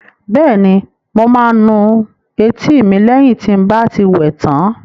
Bẹ́ẹ̀ni, mo máa nu etí mi lẹ́yìn tí n bá ti wẹ tán